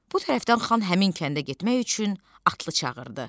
Bu tərəfdən xan həmin kəndə getmək üçün atlı çağırdı.